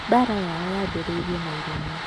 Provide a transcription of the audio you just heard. Mbaara yao yambĩrĩirie na irumi.